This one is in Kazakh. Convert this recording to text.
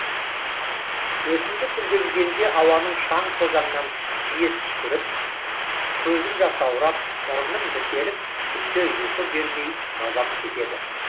өсімдік гүлдегенде ауадағы шаң тозаңнан жиі түшкіріп көзім жасаурап мұрным бітеліп түнде ұйқы бермей мазамкетеді